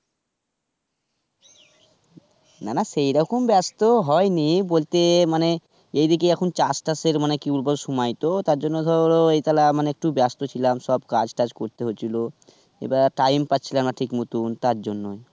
না না সেরকম ব্যস্তও হয়নি, বলতে মানে এইদিকে এখন চাষ টাসের মানে কি বলব সময় তো, তার জন্য ধরো এই থালে মানে একটু ব্যস্ত ছিলাম সব কাজ টাজ করতে হচ্ছিলো. এবার time পাচ্ছিলাম না ঠিক মতন তারজন্য.